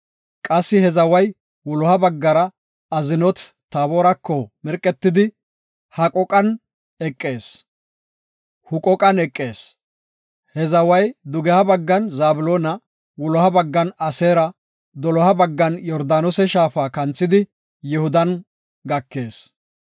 Qassi he zaway wuloha baggara Aznoot-Taboorako mirqetidi, Huqooqan eqees. He zaway dugeha baggan Zabloona, wuloha baggan Aseera, doloha baggan Yordaanose shaafa kanthidi Yihudan gakees.